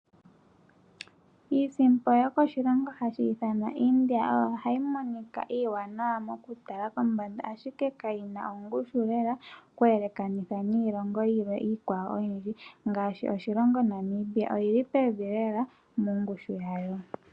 Iisimpo yokoshilongo hashi ithanwa India ohayi monika iiwanawa mokutala kombanda ihe kayina ongushu lela okweelekanitha niilongo iikwawo oyindji ngaashi oshilongo Namibia oyili pevi lela nongushu yayo.